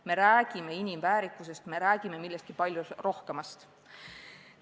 Me räägime inimväärikusest, me räägime millestki palju rohkemast.